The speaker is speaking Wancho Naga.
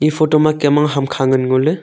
eya photo ma kem ang hamkha ngan ngo ley.